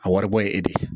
A waribɔ ye e de ye